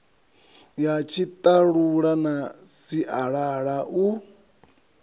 ya tshiṱalula na sialala u